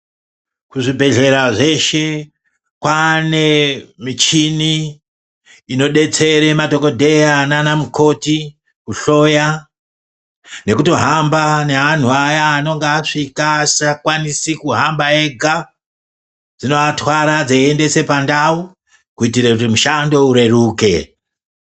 Kuzvibhehleya zveshe kwane inodetsere madhokodheya nanamukoti kuhloya nekutohamba neanhu aya anenge asikalwanisi kuhamba ega, dzinoatwara dzeiaendesa pandau kuitire kuti mushando ureruke.